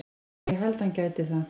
Já ég held að hann gæti það.